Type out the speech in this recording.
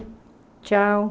Tchau.